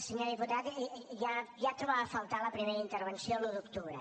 senyor diputat ja trobava a faltar a la primera intervenció l’un d’octubre